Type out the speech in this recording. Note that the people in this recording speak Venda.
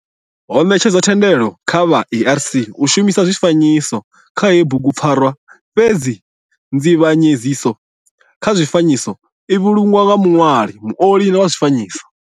Ho netshedzwa thendelo kha vha ARC u shumisa zwifanyiso kha heyi bugupfarwa fhedzi nzivhanyedziso kha zwifanyiso i vhulungwa nga muṋwali, muoli wa zwifanyiso.